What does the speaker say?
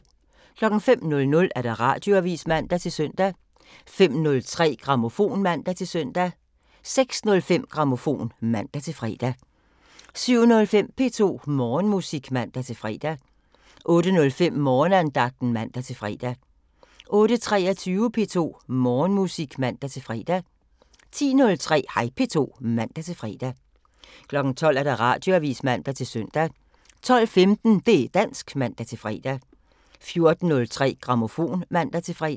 05:00: Radioavisen (man-søn) 05:03: Grammofon (man-søn) 06:05: Grammofon (man-fre) 07:05: P2 Morgenmusik (man-fre) 08:05: Morgenandagten (man-fre) 08:23: P2 Morgenmusik (man-fre) 10:03: Hej P2 (man-fre) 12:00: Radioavisen (man-søn) 12:15: Det' dansk (man-fre) 14:03: Grammofon (man-fre)